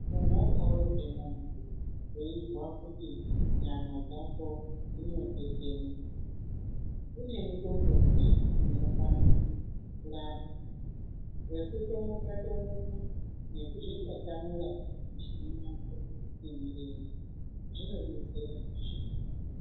Ungadaro zvemunhu weizwa kuti nyama dzako dzinotetena kune mishongazve inokwanise kurapa wekutomuka tomuka nekuzvitatamura nemirenje zvinodetserahe.